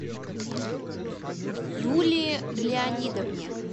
юлии леонидовне